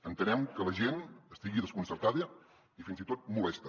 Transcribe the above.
entenem que la gent estigui desconcertada i fins i tot molesta